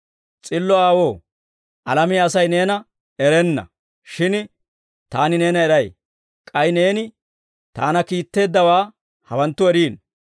«S'illo Aawoo, alamiyaa Asay Neena erenna; shin Taani neena eray. K'ay Neeni Taana kiitteeddawaa hawanttu eriino.